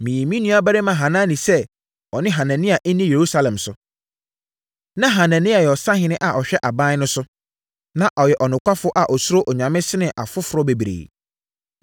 Meyii me nuabarima Hanani sɛ ɔne Hanania nni Yerusalem so. Na Hanania yɛ ɔsahene a ɔhwɛ aban no so, na ɔyɛ ɔnokwafoɔ a ɔsuro Onyame sene afoforɔ bebree.